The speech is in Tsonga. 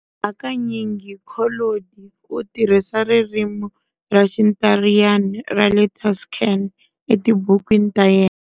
Hakanyingi Collodi u tirhisa ririmi ra Xintariyana ra le Tuscan etibukwini ta yena.